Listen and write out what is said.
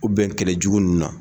U bɛn kɛlɛ jugu nunnu na.